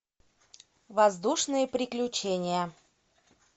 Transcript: воздушные приключения